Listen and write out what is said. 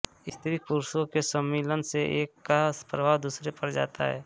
स्त्री पुरुषों के सम्मिलन से एक का प्रभाव दूसरे पर जाता है